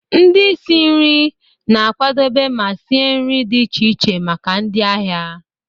Ndị isi nri na-akwadebe ma sie nri dị iche iche maka ndị ahịa.